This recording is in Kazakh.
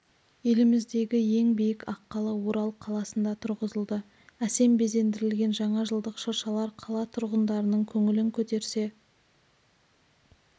еліміздегі ең биік аққала орал қаласында тұрғызылды әсем безендірілген жаңа жылдық шыршалар қала тұрғындарының көңілін көтерсе